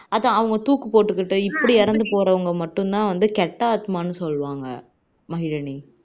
அதான் அவங்க தூக்கு போட்டுகிட்டு இப்படி இறந்து போறவங்க மட்டும் தான் வந்து கெட்ட ஆத்மானு சொல்லுவங்க மகிழினி